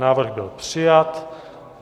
Návrh byl přijat.